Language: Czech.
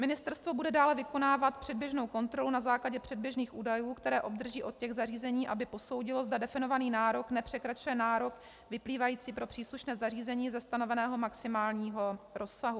Ministerstvo bude dále vykonávat předběžnou kontrolu na základě předběžných údajů, které obdrží od těch zařízení, aby posoudilo, zda definovaný nárok nepřekračuje nárok vyplývající pro příslušné zařízení ze stanoveného maximálního rozsahu.